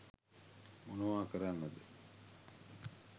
මොනවා කරන්නද?.